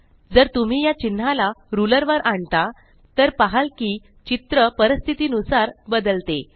जर तुम्ही या चिन्हाला रुलर वर आणता तर पहाल कि चित्र परिस्थितीनुसार बदलते